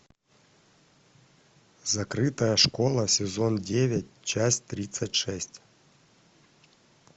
закрытая школа сезон девять часть тридцать шесть